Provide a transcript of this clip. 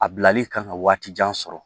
A bilali kan ka waati jan sɔrɔ